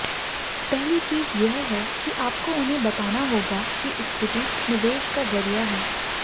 पहली चीज यह है कि आपको उन्हें बताना होगा कि इक्विटी निवेश का जरिया है